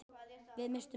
Við misstum þá.